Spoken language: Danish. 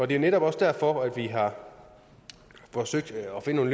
det er netop også derfor vi har forsøgt at finde